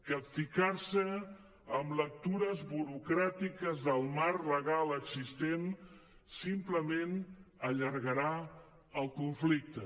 capficar se en lectures burocràtiques del marc legal existent simplement allargarà el conflicte